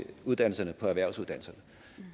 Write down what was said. uddannelserne på erhvervsuddannelserne